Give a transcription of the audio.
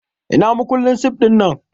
Ina makullin sif ɗinnan?